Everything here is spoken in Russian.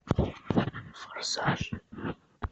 форсаж